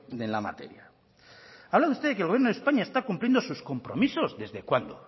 en la materia habla usted de que el gobierno de españa está cumpliendo sus compromisos desde cuándo